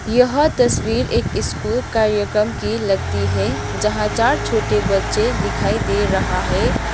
यह तस्वीर एक स्कूल कार्यक्रम की लगती है जहां चार छोटे बच्चे दिखाई दे रहा है।